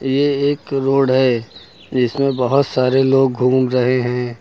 ये एक रोड है जिसमें बहुत सारे लोग घूम रहे हैं।